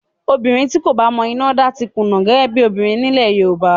Obìnrin tí kò bá mọ iná dá ti kùnà gẹ́gẹ́ bí obìnrin nílẹ̀ Yorùbá